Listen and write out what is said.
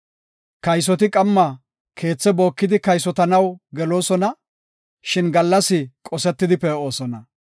Kaysoti qamma keethe bookidi kaysotanaw geloosona; shin gallas qosetidi pee7osona.